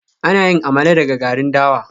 Ana yin Amala daga garin dawa